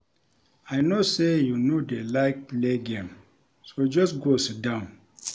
I no say you no dey like play game so just go sit down